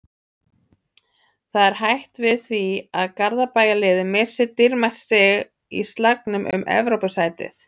Það er hætt við því að Garðabæjarliðið missi dýrmæt stig í slagnum um Evrópusæti.